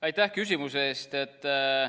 Aitäh küsimuse eest!